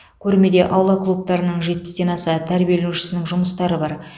көрмеде аула клубтарының жетпістен аса тәрбиеленушісінің жұмыстары бар